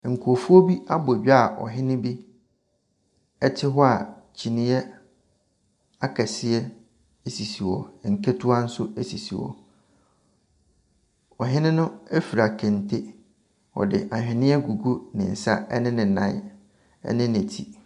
Nkurɔfoɔ abɔ dwa a ɔhene bi te hɔ a kyineɛ akɛseɛ sisi hɔ, nketewa nso sisi hɔ. Ɔhene no fura kente, ɔde aweneɛ agugu ne nsa, ne ne nan ne ne tiri.